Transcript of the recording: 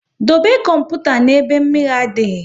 Dobe kọmputa na ebe mmiri na adịghị